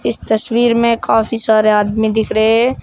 इस तस्वीर में काफी सारे आदमी दिख रहे है।